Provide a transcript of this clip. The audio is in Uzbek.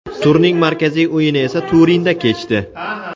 Turning markaziy o‘yini esa Turinda kechdi.